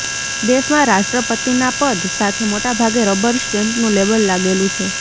દેશમાં રાષ્ટ્રપતિનાપદ સાથે મોટા ભાગે રબર સ્ટેમ્પનું લેબલ લાગેલું છે